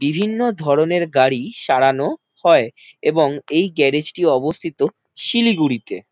বিভিন্ন ধরনের গাড়ি সরানো হয় এবং এই গ্যারেজ টি অবস্থিত শিলিগুড়িতে।